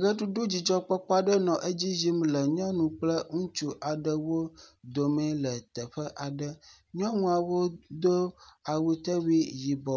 Ʋeɖuɖu dzidzɔkpɔkpɔ aɖe nɔ edzi yim le nyɔnu kple ŋutsu aɖewo dome le teƒe aɖe. Nyɔnuawo do awutewui yibɔ